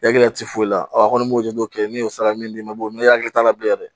Egilɛti foyi la ɔ a kɔni m'o jatew kɛ min y'o saraka min d'i ma n'i hakili t'a la bilen yɛrɛ